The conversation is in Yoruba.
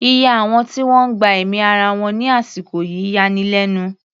Iye àwọn tí wọ́n gba ẹ̀mí ara wọn ní àsìkò yìí yani lẹ́nu.